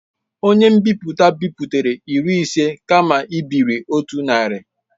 Onye nbipute ebipụtara iri ise kama ibiri otu narị.